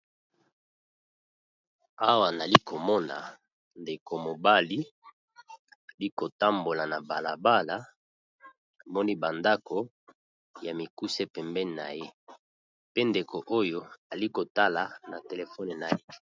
Awa nalikomona ndeko mobali alikotambola nabalabala namoni bandako yamikuse pembeni naye pe ndeko oyo azakotala na téléphone naye